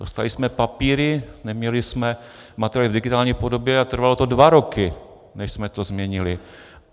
Dostali jsme papíry, neměli jsme materiály v digitální podobě a trvalo to dva roky, než jsme to změnili.